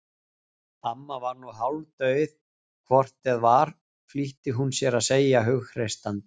Amma var nú hálfdauð hvort eð var flýtti hún sér að segja hughreystandi.